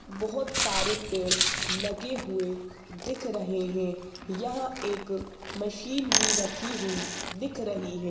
बहोत सारे पेड़ लगे हुए दिख रहे हैं यहां एक मशीन भी रखी हुई दिख रही है।